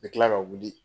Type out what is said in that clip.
N bɛ tila ka wuli